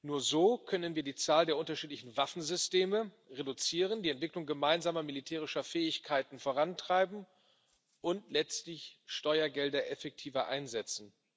Nur so können wir die Zahl der unterschiedlichen Waffensysteme reduzieren, die Entwicklung gemeinsamer militärischer Fähigkeiten vorantreiben und letztlich Steuergelder effektiver einsetzen.